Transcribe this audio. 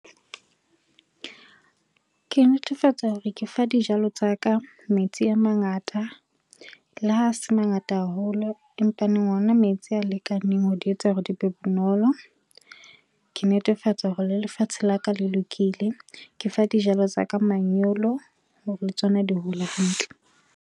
Ke netefatsa hore ke fa dijalo tsa ka metsi a mangata, le ha a se mangata haholo empaneng ona metsi a lekaneng ho di etsa hore di be bonolo. Ke netefatsa hore le lefatshe la ka le lokile. Ke fa dijalo tsa ka manyolo hore le tsona di hole hantle.